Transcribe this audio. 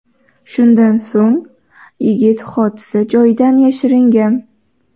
Shundan so‘ng yigit hodisa joyidan yashiringan.